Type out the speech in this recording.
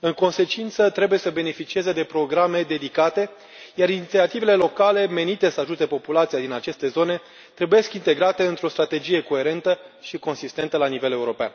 În consecință, trebuie să beneficieze de programe dedicate, iar inițiativele locale, menite să ajute populația din aceste zone, trebuie integrate într o strategie coerentă și consistentă la nivel european.